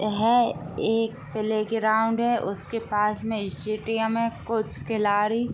यह एक प्लेग्राउंड है। उसके पास मे स्टेडियम है। कुछ खिलाड़ी --